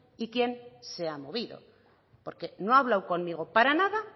y quién se ha movido porque no ha hablado conmigo para nada